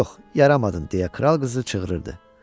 Yox, yaramadın deyə kral qızı çığırırdı.